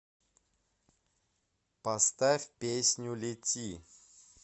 поставь песню лети